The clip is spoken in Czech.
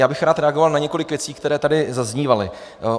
Já bych rád reagoval na několik věcí, které tady zaznívaly.